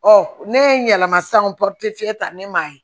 Ɔ ne ye n yɛlɛma san o ta ne m'a ye